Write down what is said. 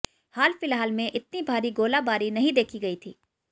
हाल फिलहाल में इतनी भारी गोलाबारी नहीं देखी गई थी